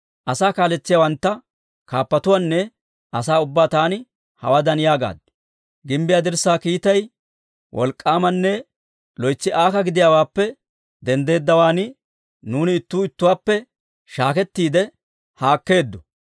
Asaa kaaletsiyaawantta, kaappatuwaanne asaa ubbaa taani hawaadan yaagaad; «Gimbbiyaa dirssaa kiitay wolk'k'aamanne loytsi aaka gidiyaawaappe denddeeddawaan, nuuni ittuu ittuwaappe shaakettiide haakkeeddo.